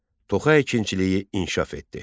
Toxa əkinçiliyi inkişaf etdi.